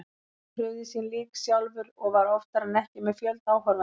Hann krufði sín lík sjálfur og var oftar en ekki með fjölda áhorfenda.